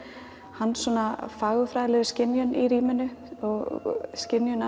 hans svona fagurfræðilegu skynjun í rýminu og skynjun